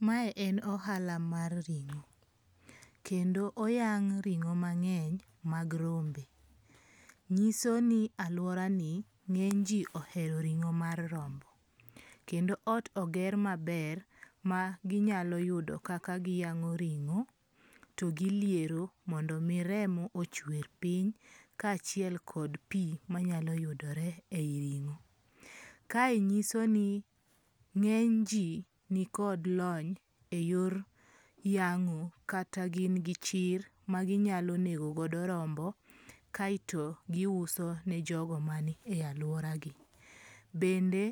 Mae en ohala mar ring'o. Kendo oyang' ring'o mang'eny mag rombe. Nyiso ni aluora ni ng'eny ji ohero ring'o mar rombo. Kendo ot oger maber ma ginyalo yudo kaka giyang'o ringo to giliero mondo mi remo ochwer piny ka achiel kod pi manyalo yudore e yi ring'o. kae nyiso ni ng'eny ji ni kod lony e yo yeng'o kada gin gi chir maginyalo nego godo rombo kaeto giuso ne jogo manie aluara gi. Bende